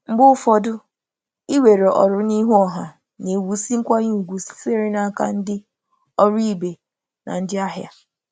Mgbe ụfọdụ, ịnakwere ọrụ n’ezoghị ọnụ na-ewusi nkwanye ùgwù site n’aka ndị ọrụ ibe na ndị na ndị ahịa.